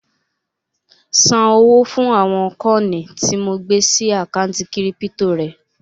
Ṣan owó fún àwọn kọ́ọ̀nì tí mo gbé sí àkántì kírípítò rẹ